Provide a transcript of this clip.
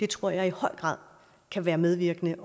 tror jeg i høj grad kan være medvirkende